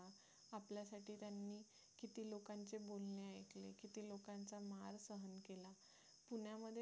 पुण्यामध्ये